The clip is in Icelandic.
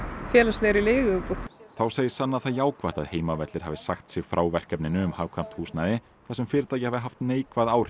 félagslegri leiguíbúð þá segir sanna það jákvætt að Heimavellir hafi sagt sig frá verkefninu um hagkvæmt húsnæði þar sem fyrirtækið hafi haft neikvæð áhrif